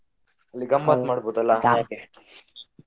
ಅಲ್ಲಿ ಗಮತ್ತ್ ಮಾಡ್ಬೋದಲ್ಲ .